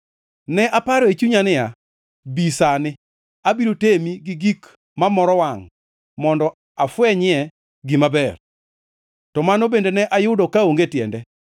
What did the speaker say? Ne aparo e chunya niya, “Bi sani, abiro temi gi gik ma moro wangʼ mondo afwenyie gima ber.” To mano bende ne ayudo kaonge tiende.